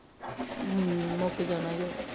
ਅਮ ਮੋਕ ਜਾਣਾ ਜੋ